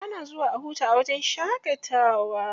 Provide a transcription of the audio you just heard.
Ana zuwa a huta a wajen shaƙatawa.